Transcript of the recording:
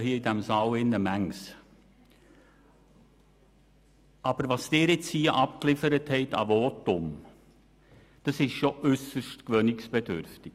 was Sie nun hier an Votum abgeliefert haben, ist doch äusserst gewöhnungsbedürftig.